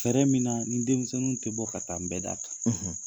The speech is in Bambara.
Fɛɛrɛ min na ni denmisɛnninw tɛ bɔ ka taa nbɛda kan.